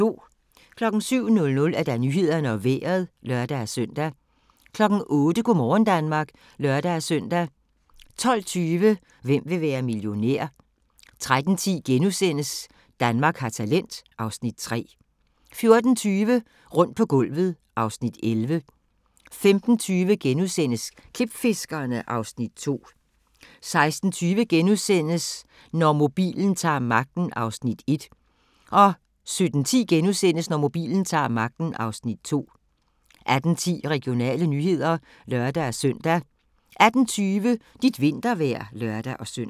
07:00: Nyhederne og Vejret (lør-søn) 08:00: Go' morgen Danmark (lør-søn) 12:20: Hvem vil være millionær? 13:10: Danmark har talent (Afs. 3)* 14:20: Rundt på gulvet (Afs. 11) 15:20: Klipfiskerne (Afs. 2)* 16:20: Når mobilen ta'r magten (Afs. 1)* 17:10: Når mobilen ta'r magten (Afs. 2)* 18:10: Regionale nyheder (lør-søn) 18:20: Dit vintervejr (lør-søn)